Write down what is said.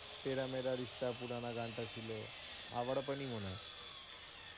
তেরা মেরা রিস্তা পুরানা গানটা ছিল আওরাপানই মনে হয়,